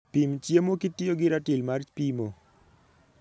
Pim chiemo kitiyo gi ratil mar pimo.